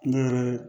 Ne yɛrɛ